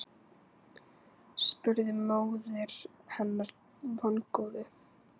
spurði móðir hennar vongóð.